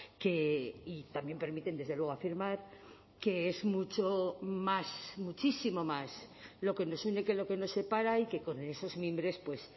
que y también permiten desde luego afirmar que es mucho más muchísimo más lo que nos une que lo que nos separa y que con esos mimbres pues